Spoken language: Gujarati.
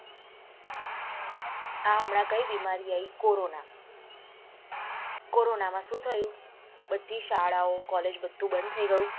હા એમના કઈ બીમારી આઈ કોરોના કોરોના માં સુ થયું બધી શાળાઓ કોલેજ બધી બંદ થઇ ગયું.